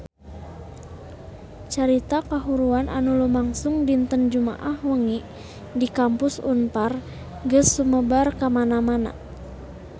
Carita kahuruan anu lumangsung dinten Jumaah wengi di Kampus Unpar geus sumebar kamana-mana